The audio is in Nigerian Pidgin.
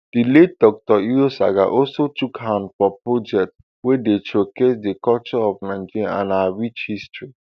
di late dr irosanga also chook hand for projects wey dey showcase di culture of nigeria and her rich history